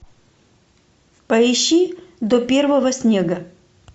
поищи до первого снега